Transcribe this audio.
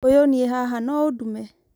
ũyũ niĩ haha no ũndũme